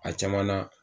A caman na